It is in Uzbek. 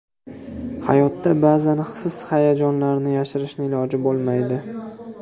Hayotda ba’zan his-hayajonlarni yashirishni iloji bo‘lmaydi.